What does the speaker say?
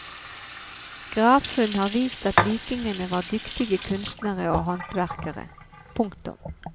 Gravfunn har vist at vikingene var dyktige kunstnere og håndverkere. punktum